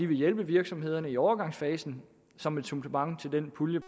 vil hjælpe virksomhederne i overgangsfasen som et supplement til den pulje